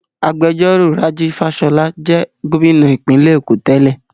Agbẹjọ́rò Rájí Fáṣọlá jẹ́ Gómìnà ìpínlẹ̀ Èkó tẹ́lẹ̀